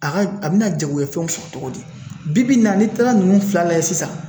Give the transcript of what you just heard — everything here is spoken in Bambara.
A ka a bɛna jagoya fɛnw sɔrɔ cogo di, bi bi in na, n'i taara ninnu fila lajɛ sisan